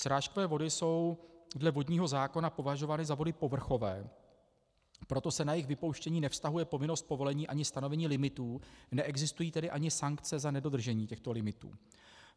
Srážkové vody jsou dle vodního zákona považovány za vody povrchové, proto se na jejich vypouštění nevztahuje povinnost povolení ani stanovení limitů, neexistují tedy ani sankce za nedodržení těchto limitů.